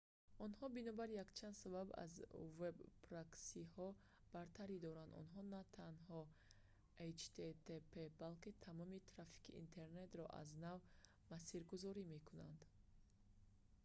онҳо бинобар якчанд сабаб аз веб-проксиҳо бартарӣ доранд онҳо на танҳо http балки тамоми трафики интернетро аз нав масиргузорӣ мекунанд